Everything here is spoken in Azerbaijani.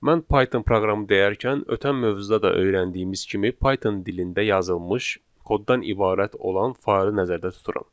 Mən Python proqramı deyərkən ötən mövzuda da öyrəndiyimiz kimi Python dilində yazılmış koddan ibarət olan faylı nəzərdə tuturam.